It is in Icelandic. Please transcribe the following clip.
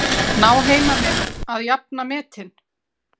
Ná heimamenn að jafna metin?